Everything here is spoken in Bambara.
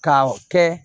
Ka kɛ